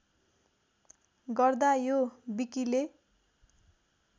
गर्दा यो विकिले